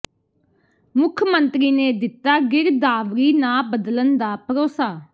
ਮੁੱਖ ਮੰਤਰੀ ਨੇ ਦਿੱਤਾ ਗਿਰਦਾਵਰੀ ਨਾ ਬਦਲਣ ਦਾ ਭਰੋਸਾ